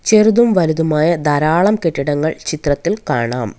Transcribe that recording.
ചെറുതും വലുതുമായ ധാരാളം കെട്ടിടങ്ങൾ ചിത്രത്തിൽ കാണാം.